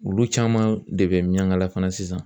Olu caman de bɛ miɲankala fana sisan